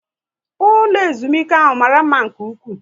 Ụlọ ezumike ahụ mara mma nke ụkwụ